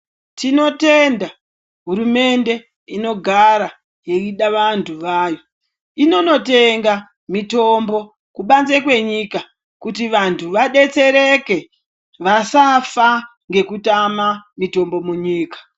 Tinotenda hurumende inogara ichida vandu vayo inondotenga mutombo kubanze kwenyika kuti vanhu vabetsereke vasafa nekutama ngekutama mutombo munyika